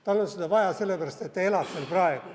Tal on seda vaja sellepärast, et ta elab seal praegu.